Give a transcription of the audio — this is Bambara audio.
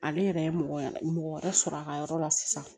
Ale yɛrɛ ye mɔgɔ wɛrɛ sɔrɔ a ka yɔrɔ la sisan